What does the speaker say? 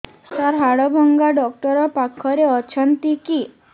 ସାର ହାଡଭଙ୍ଗା ଡକ୍ଟର ପାଖରେ ଅଛନ୍ତି କି